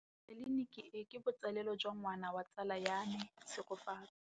Tleliniki e, ke botsalêlô jwa ngwana wa tsala ya me Tshegofatso.